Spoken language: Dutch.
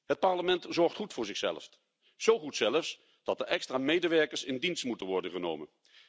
Het Parlement zorgt goed voor zichzelf, zo goed zelfs dat er extra medewerkers in dienst moeten worden genomen.